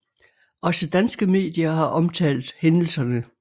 Også danske medier har omtalt hændelserne